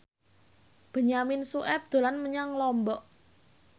Benyamin Sueb dolan menyang Lombok